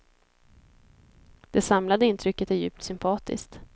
Det samlade intrycket är djupt sympatiskt.